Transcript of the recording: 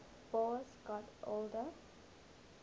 boas got older